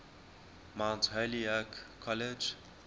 mount holyoke college